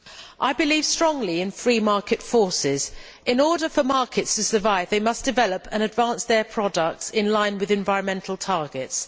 Mr President, I believe strongly in free market forces. In order for markets to survive they must develop and advance their products in line with environmental targets.